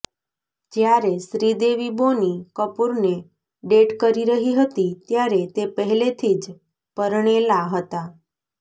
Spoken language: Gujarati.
જ્યારે શ્રીદેવી બોની કપૂરને ડેટ કરી રહી હતી ત્યારે તે પહેલેથી જ પરણેલા હતા